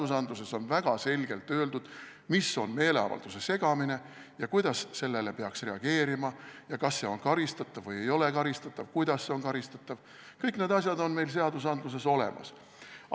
Seaduses on väga selgelt öeldud, mis on meeleavalduse segamine ja kuidas sellele peaks reageerima, ja kas see on karistatav või ei ole karistatav, kuidas on karistatav – kõik need asjad on meil seaduses olemas.